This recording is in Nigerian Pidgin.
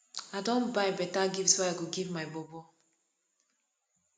i don buy beta gift wey i go give my bobo